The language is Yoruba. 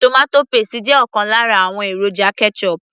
tomato paste jẹ́ ọ̀kan lára àwọn èròjà ketchup